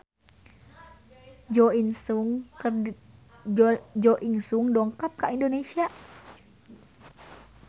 Jo In Sung dongkap ka Indonesia